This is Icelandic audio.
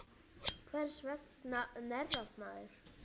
Hvers vegna hnerrar maður?